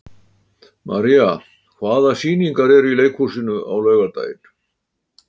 María, hvaða sýningar eru í leikhúsinu á laugardaginn?